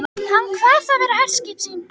Hann kvað það vera herskip sín.